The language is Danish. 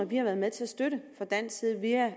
været med til at støtte fra dansk side via